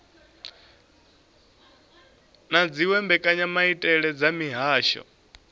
na dziwe mbekanyamaitele dza mihasho